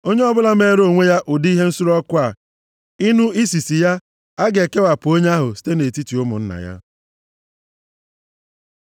Onye ọbụla meere onwe ya ụdị ihe nsure ọkụ a, ịnụ isisi ya, a ga-ekewapụ onye ahụ site nʼetiti ụmụnna ya.”